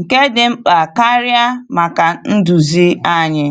nke dị mkpa karịa maka nduzi anyị.